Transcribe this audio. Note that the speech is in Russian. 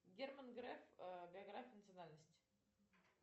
герман греф биография национальность